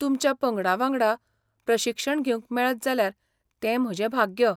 तुमच्या पंगडावांगडा प्रशिक्षण घेवंक मेळत जाल्यार तें म्हजें भाग्य.